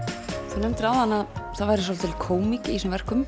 þú nefndir áðan að það væri svolítil kómík í þessum verkum